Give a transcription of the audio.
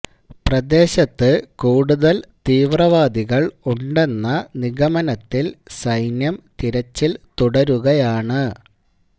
പ്രദേശത്ത് കൂടുതല് തീവ്രവാദികള് ഉണ്ടെന്ന നിഗമനത്തില് സൈന്യം തിരച്ചില് തുടരുകയാണ്